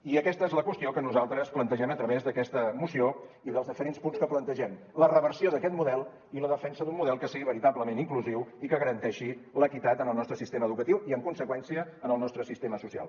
i aquesta és la qüestió que nosaltres plantegem a través d’aquesta moció i dels diferents punts que plantegem la reversió d’aquest model i la defensa d’un model que sigui veritablement inclusiu i que garanteixi l’equitat en el nostre sistema educatiu i en conseqüència en el nostre sistema social